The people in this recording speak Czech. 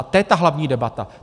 A to je ta hlavní debata.